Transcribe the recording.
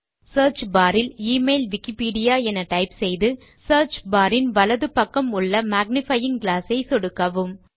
search bar இல் email Wikipedia என type செய்து சியர்ச் பார் இன் வலது பக்கம் உள்ள மேக்னிஃபையிங் கிளாஸ் ஐ சொடுக்கவும்